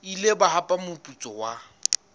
ile ba hapa moputso wa